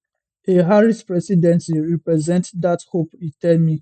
a harris presidency represent dat hope e tell me